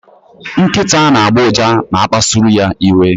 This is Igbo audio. Nkịta na-agbọ ụja ma a kpasuru ya iwe.